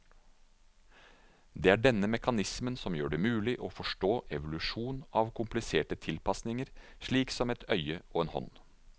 Det er denne mekanismen som gjør det mulig å forstå evolusjon av kompliserte tilpasninger slik som et øye og en hånd.